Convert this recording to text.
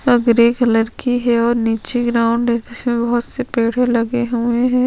अ grey colour की है और निचे ग्राउंड है जिसपे बहोत से पेड़े लगे हुए है।